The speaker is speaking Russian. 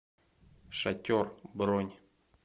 шатер бронь